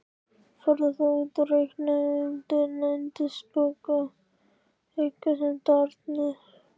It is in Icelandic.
Farðu þá út og reikaðu um yndisþokka einsemdarinnar.